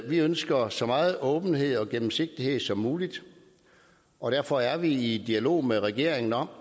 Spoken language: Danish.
vi ønsker så meget åbenhed og gennemsigtighed som muligt og derfor er vi i dialog med regeringen om